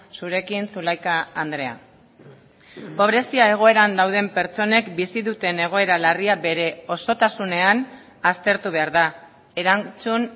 zurekin zulaika andrea pobrezia egoeran dauden pertsonek bizi duten egoera larria bere osotasunean aztertu behar da erantzun